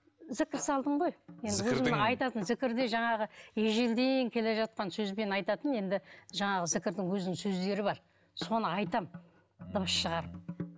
зікір салдым ғой зікірдің айтатын зікірде жаңағы ежелден келе жатқан сөзбен айтатын енді жаңағы зікірдің өзінің сөздері бар соны айтамын дыбыс шығарып